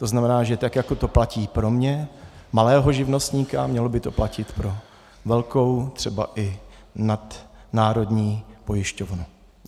To znamená, že tak jako to platí pro mě, malého živnostníka, mělo by to platit pro velkou, třeba i nadnárodní pojišťovnu.